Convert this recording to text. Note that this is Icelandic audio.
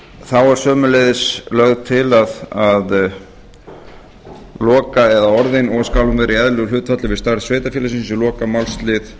þá er sömuleiðis lagt til að orðin og skal hún í eðlilegu hlutfalli við starf sveitarfélagsins í lokamálslið